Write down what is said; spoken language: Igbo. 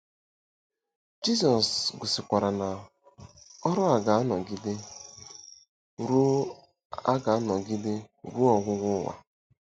Jizọs gosikwara na ọrụ a ga-anọgide “ruo a ga-anọgide “ruo ọgwụgwụ ụwa.”